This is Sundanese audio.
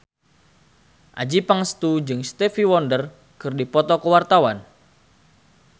Adjie Pangestu jeung Stevie Wonder keur dipoto ku wartawan